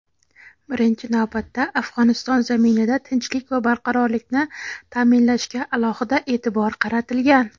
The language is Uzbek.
birinchi navbatda Afg‘oniston zaminida tinchlik va barqarorlikni ta’minlashga alohida e’tibor qaratilgan.